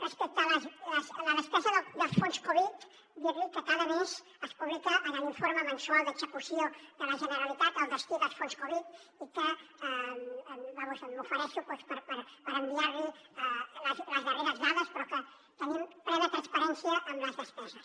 respecte a la despesa dels fons covid dir li que cada mes es publica en l’informe mensual d’execució de la generalitat el destí dels fons covid i que vaja m’ofereixo per enviar li les darreres dades però que tenim plena transparència en les despeses